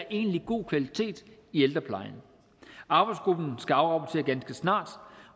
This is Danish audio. egentlig er god kvalitet i ældreplejen arbejdsgruppen skal afrapportere ganske snart